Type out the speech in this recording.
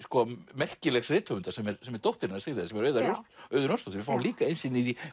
merkilegs rithöfundar sem er sem er dóttir hennar Sigríðar Auður Auður Jónsdóttir við fáum líka innsýn inn í